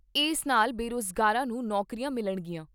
ਇਸ ਨਾਲ ਬੇਰੁਜ਼ਗਾਰਾਂ ਨੂੰ ਨੌਕਰੀਆਂ ਮਿਲਣਗੀਆਂ।